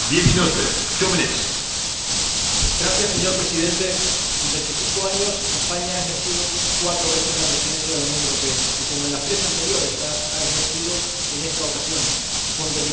Señor Presidente, en veinticinco años, España ha ejercido cuatro veces la Presidencia en ejercicio de la Unión Europea. Y, como en las tres anteriores, la ha ejercido en esta ocasión con dedicación y con responsabilidad intensamente europeístas.